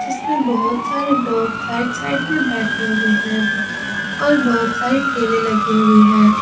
इसमें बहुत सारे लोग साइड साइड में बैठे हुए हैं और बहोत सारे ठेले लगे हुए हैं।